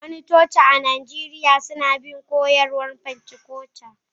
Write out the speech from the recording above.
wasu coci a Najeriya suna bin koyarwar pentikostal